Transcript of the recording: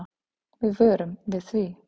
Við vörum við því.